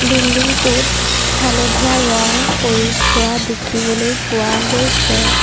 Building টোত হালধীয়া ৰং কৰি থোৱা দেখিবলৈ পোৱা গৈছে।